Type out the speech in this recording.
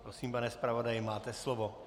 Prosím, pane zpravodaji, máte slovo.